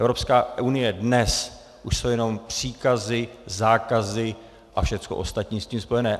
Evropská unie dnes už jsou jenom příkazy, zákazy a všecko ostatní s tím spojené.